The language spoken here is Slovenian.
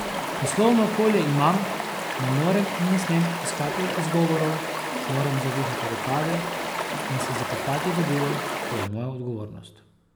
Poslovno okolje imam, ne morem in ne smem iskati izgovorov, moram zavihati rokave in se zakopati v delo, to je moja odgovornost.